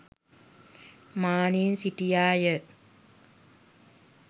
මානයෙන් සිටියා ය.